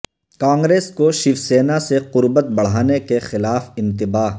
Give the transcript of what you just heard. کانگریس کو شیوسینا سے قربت بڑھانے کے خلاف انتباہ